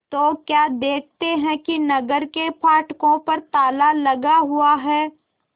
तो क्या देखते हैं कि नगर के फाटकों पर ताला लगा हुआ है